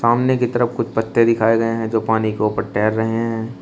सामने की तरफ कुछ पत्ते दिखाए गए हैं जो पानी के ऊपर तैर रहे हैं।